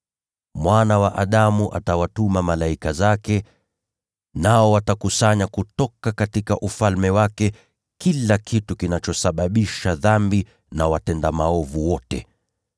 Mwana wa Adamu atawatuma malaika zake, nao watakusanya kutoka Ufalme wake kila kitu kinachosababisha dhambi na watenda maovu wote.